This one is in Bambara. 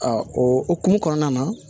o hokumu kɔnɔna na